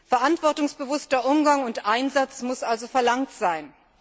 Verantwortungsbewusster Umgang und Einsatz müssen also verlangt werden.